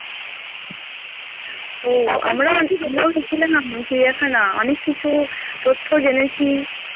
আমরাও আমরাও গেছিলাম চিড়িয়াখানা অনেক কিছু তথ্য জেনেছি